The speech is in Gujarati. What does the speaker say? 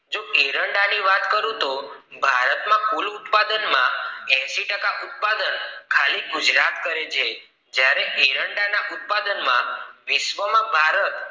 જો એરંડા ની વાત કરું તો ભારતમાં કુલ ઉત્પાદન માં એંશી ટકા ઉત્પાદન ખાલી ગુજરાત કરે છે જ્યારે એરંડા ઉત્પાદન માં વિશ્વ માં ભારત